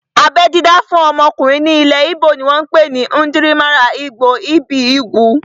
Abẹ́ dídá fún ọmọkùnrin ní ilẹ̀ íbò ni wọ́n pè ní "Njirimaralgbo ibi ugwu"